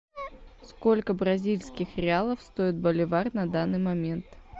сколько бразильских реалов стоит боливар на данный момент